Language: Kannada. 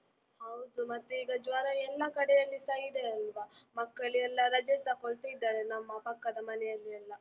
ಹೌದು ಮತ್ತೆ ಈಗ ಜ್ವರ ಎಲ್ಲ ಕಡೆಯಲ್ಲಿಸ ಇದೆ ಅಲ್ವ, ಮಕ್ಕಳೆಲ್ಲ ರಜೆ ತಗೋಳ್ತಿದ್ದರೆ ನಮ್ಮ ಪಕ್ಕದ ಮನೆಯಲ್ಲಿ ಎಲ್ಲ.